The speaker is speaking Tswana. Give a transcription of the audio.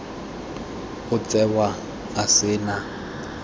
o tsewa a se na